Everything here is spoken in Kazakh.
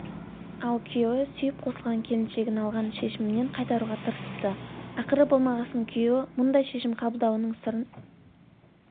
ал күйеуі сүйіп қосылған келіншегін алған шешімінен қайтаруға тырысыпты ақыры болмағасын күйеуі мұндай шешім қабылдауының сырын